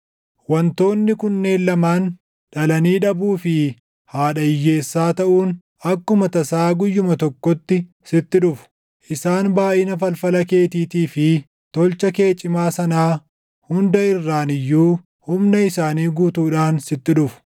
Wantoonni kunneen lamaan, dhalanii dhabuu fi haadha hiyyeessaa taʼuun akkuma tasaa guyyuma tokkotti sitti dhufu. Isaan baayʼina falfala keetiitii fi tolcha kee cimaa sanaa hunda irraan iyyuu humna isaanii guutuudhaan sitti dhufu.